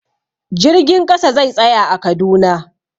Jirgin ƙasa zai tsaya a Kaduna.